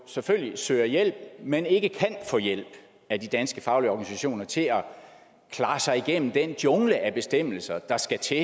selvfølgelig vil søge hjælp men ikke kan få hjælp af de danske faglige organisationer til at klare sig igennem den jungle af bestemmelser der skal til